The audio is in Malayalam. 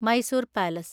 മൈസൂർ പാലസ്